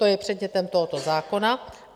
To je předmětem tohoto zákona.